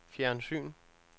fjernsyn